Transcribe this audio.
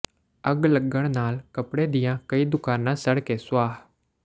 ਅੱਗ ਲੱਗਣ ਨਾਲ ਕੱਪੜੇ ਦੀਆਂ ਕਈ ਦੁਕਾਨਾਂ ਸੜ ਕੇ ਸੁਆਹ